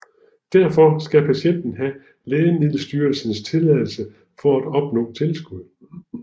Derfor skal patienten have Lægemiddelstyrelsens tilladelse for at opnå tilskud